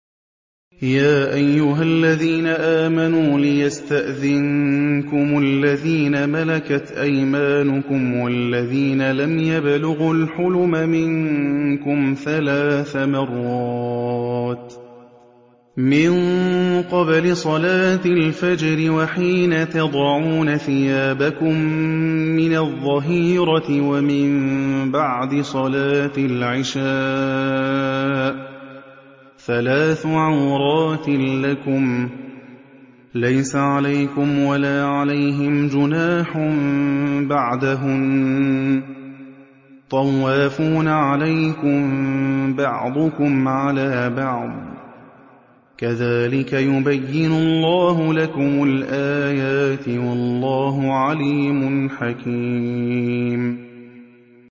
يَا أَيُّهَا الَّذِينَ آمَنُوا لِيَسْتَأْذِنكُمُ الَّذِينَ مَلَكَتْ أَيْمَانُكُمْ وَالَّذِينَ لَمْ يَبْلُغُوا الْحُلُمَ مِنكُمْ ثَلَاثَ مَرَّاتٍ ۚ مِّن قَبْلِ صَلَاةِ الْفَجْرِ وَحِينَ تَضَعُونَ ثِيَابَكُم مِّنَ الظَّهِيرَةِ وَمِن بَعْدِ صَلَاةِ الْعِشَاءِ ۚ ثَلَاثُ عَوْرَاتٍ لَّكُمْ ۚ لَيْسَ عَلَيْكُمْ وَلَا عَلَيْهِمْ جُنَاحٌ بَعْدَهُنَّ ۚ طَوَّافُونَ عَلَيْكُم بَعْضُكُمْ عَلَىٰ بَعْضٍ ۚ كَذَٰلِكَ يُبَيِّنُ اللَّهُ لَكُمُ الْآيَاتِ ۗ وَاللَّهُ عَلِيمٌ حَكِيمٌ